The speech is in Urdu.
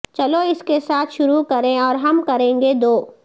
چلو اس کے ساتھ شروع کریں اور ہم کریں گے دو